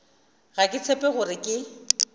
ga ke tshepe gore ke